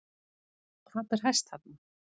Hvað ber hæst þarna?